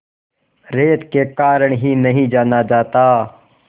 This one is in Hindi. रेत के कारण ही नहीं जाना जाता